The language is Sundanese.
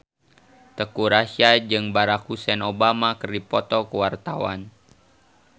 Teuku Rassya jeung Barack Hussein Obama keur dipoto ku wartawan